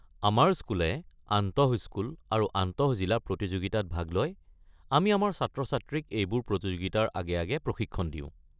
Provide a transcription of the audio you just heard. আমাৰ স্কুলে আন্তঃস্কুল আৰু আন্তঃজিলা প্ৰতিযোগিতাত ভাগ লয়, আমি আমাৰ ছাত্ৰ-ছাত্ৰীক এইবোৰ প্ৰতিযোগিতাৰ আগে আগে প্ৰশিক্ষণ দিওঁ।